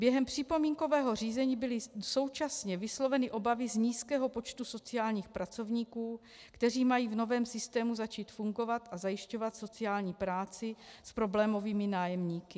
Během připomínkového řízení byly současně vysloveny obavy z nízkého počtu sociálních pracovníků, kteří mají v novém systému začít fungovat a zajišťovat sociální práci s problémovými nájemníky.